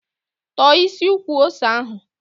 Tọ̀ọ́ isi ukwu ose ahụ!